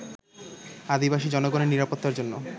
আদিবাসী জনগণের নিরাপত্তার জন্য